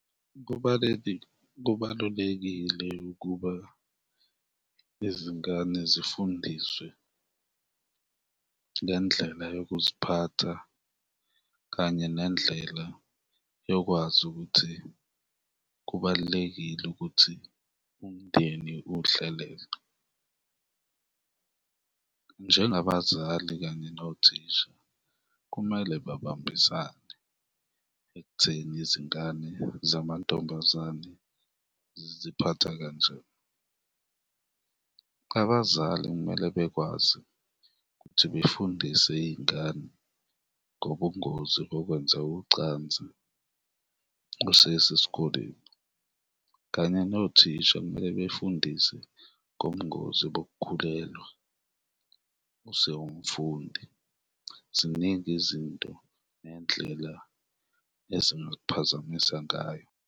Kubalulekile ukuba izingane zifundiswe ngendlela yokuziphatha kanye nendlela yokwazi ukuthi kubalulekile ukuthi umndeni uwuhlelele. Njengabazali kanye nothisha, kumele babambisane ekutheni izingane zamantombazane ziziphatha kanjani, abazali kumele bekwazi ukuthi befundise iy'ngane ngobungozi bokwenza ucansi besesesikoleni kanye nothisha kumele befundise ngobungozi bokukhulelwa usewumfundi, ziningi izinto nendlela ezingakuphazamisa ngayo.